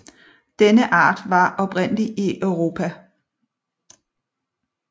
Denne art var den oprindelige i Europa